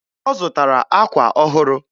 Ọ zụtara akwa ọhụrụ